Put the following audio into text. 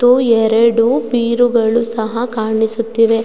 ಮತ್ತು ಎರಡು ಬೀರುಗಳು ಸಹ ಕಾಣಿಸುತ್ತಿವೆ.